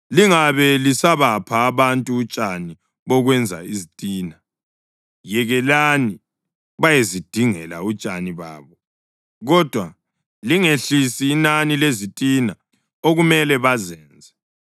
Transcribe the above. “Lingabe lisabapha abantu utshani bokwenza izitina. Yekelani bayezidingela utshani babo kodwa lingehlisi inani lezitina okumele bazenze.